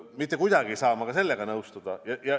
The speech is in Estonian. Mitte kuidagi ei saa ma sellega nõustuda.